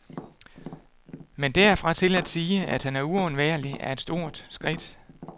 Men derfra til at sige, at han er uundværlig, er et stort skridt.